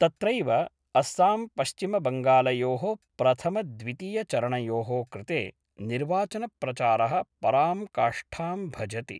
तत्रैव अस्साम्पश्चिमबंगालयो: प्रथमद्वितीयचरणयोः कृते निर्वाचनप्रचार: परां काष्ठां भजति।